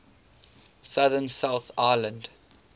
southern south island